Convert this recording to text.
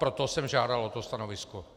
Proto jsem žádal o to stanovisko.